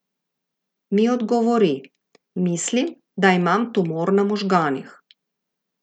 Mi odgovori:"Mislim, da imam tumor na možganih.